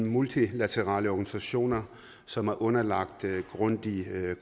multilaterale organisationer som er underlagt grundig